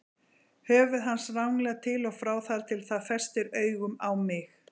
Höfuð hans ranglar til og frá þar til það festir augun á mig.